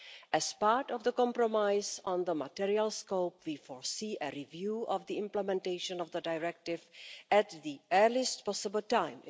As part of the compromise on the material scope we foresee a review of the implementation of the directive at the earliest possible time.